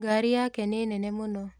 Ngari yake nĩ nene mũno